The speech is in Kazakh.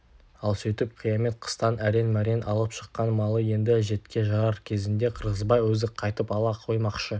ал сөйтіп қиямет қыстан әрең-мәрең алып шыққан малы енді әжетке жарар кезінде қырғызбай өзі қайтып ала қоймақшы